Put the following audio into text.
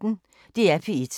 DR P1